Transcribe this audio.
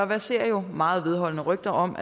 verserer meget vedholdende rygter om